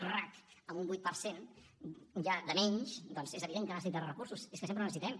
rac amb un vuit per cent ja de menys doncs és evident que necessita recursos és que sempre en necessitem